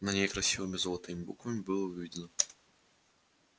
на ней красивыми золотыми буквами было выведено